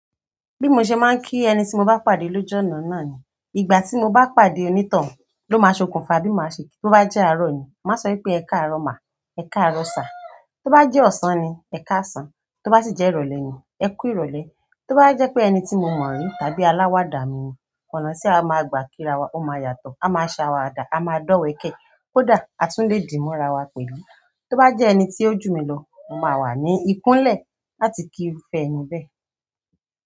Bí mo ṣe máa ń kí ẹni tí mo bá pàdé lóju ọ̀nà náà ni, ìgbà tí mo bá pàdé onítàn ló máa ṣokùnfà bí mo ṣe kí. Tó bá jẹ́ arọ̀ ni, màá sọ wípé "Ẹ káàrọ̀ má, ẹ̀ káàrọ̀ sà". Tó bá jẹ́ ọ̀sán ni, "Ẹ káàsán", tó bá sì jẹ́ ìrọ̀lẹ́ ni, "Ẹ kú ìrọ̀lẹ́". Tó bá jẹ́ pé ẹni tí mo mọ̀ rí tàbí aláwàdà mi ni, ọ̀nà ti á máa gbà kí ra wa ó máa yàtọ̀, a máa ṣàwàdà, a máa dọ̀wẹ̀kẹ̀, kódà a tún lè dímo ara wa pẹ̀lú. Tó bá jẹ́ ẹni tí ó jù mí lọ, mo máa wà ní ikún lẹ̀ láti kí irúfẹ́ e ni bẹ́.